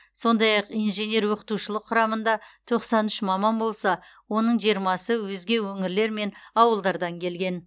сондай ақ инженер оқытушылық құрамында тоқсан үш маман болса оның жиырмасы өзге өңірлер мен ауылдардан келген